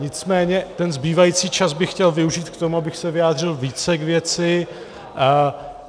Nicméně ten zbývající čas bych chtěl využít k tomu, abych se vyjádřil více k věci.